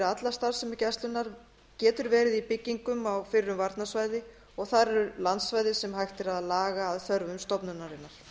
alla starfsemi gæslunnar getur verið í byggingum á varnarsvæðinu og þar er landsvæði sem hægt er að laga að þörfum stofnunarinnar